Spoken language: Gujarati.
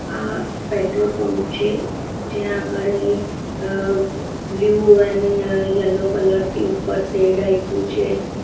આ પેટ્રોલ પંપ છે જ્યાં આગળ એ અ બ્લુ એન યલો કલર થી ઉપર સેડ આયપુ છે.